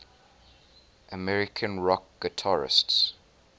american rock guitarists